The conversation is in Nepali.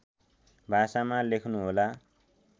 भाषामा लेख्नुहोला